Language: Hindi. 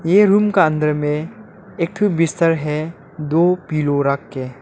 ये रूम का अंदर में एक ठो बिस्तर है दो पिलो रख के हैं।